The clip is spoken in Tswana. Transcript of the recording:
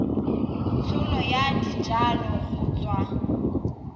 tsholo ya dijalo go tswa